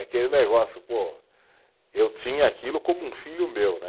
Aquele negócio, pô, eu tinha aquilo como um filho meu, né?